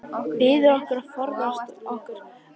Biður okkur að forða okkur frá sullinu.